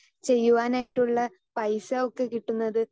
speaker 2 ചെയ്യുവാനായിട്ടുള്ള പൈസ ഒക്കെ കിട്ടുന്നത്